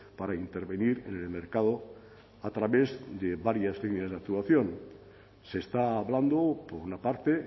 para intervenir en el mercado a través de varias líneas de actuación se está hablando por una parte